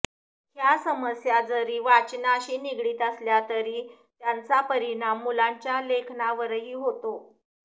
ह्या समस्या जरी वाचनाशी निगडीत असल्या तरी त्यांचा परिणाम मुलांच्या लेखनावरही होतो